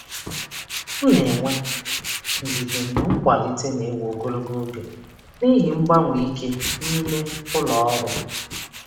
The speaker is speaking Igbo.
M na-enwe ndidi mgbe nkwalite na-ewe ogologo oge n'ihi mgbanwe ike n'ime ụlọ ọrụ.